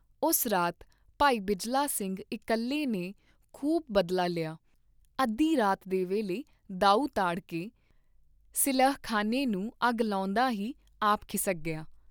ਉਸ ਰਾਤ ਭਾਈ ਬਿਜਲਾ ਸਿੰਘ ਇਕੱਲੇ ਨੇ ਖੂਬ ਬਦਲਾ ਲਿਆ, ਅੱਧੀ ਰਾਤ ਦੇ ਵੇਲੇ ਦਾਉ ਤਾੜ ਕੇ, ਸਿਲਹਖਾਨੇ ਨੂੰ ਅੱਗ ਲਾਉਂਦਾ ਹੀ ਆਪ ਖਿਸਕ ਗਿਆ।